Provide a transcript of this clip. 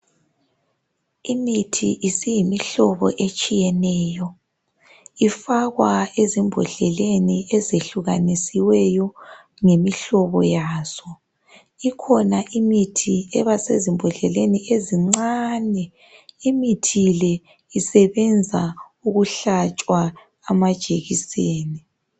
Imithi isiyimihlobo etshiyeneyo ifakwa ezimbodleleni ezehlukanisiweyo ngemihlobo yazo, ikhona imithi eba sezimbodleleni ezincani imithi le isebenza ukuhlatshwa amajekiseni.